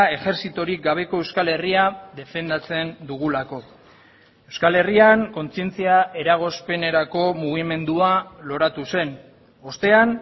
ejertzitorik gabeko euskal herria defendatzen dugulako euskal herrian kontzientzia eragozpenerako mugimendua loratu zen ostean